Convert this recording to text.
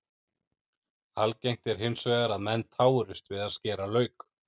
Algengt er hins vegar að menn tárist við að skera lauk.